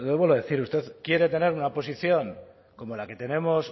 vuelvo a decir usted quiere tener una posición como la que tenemos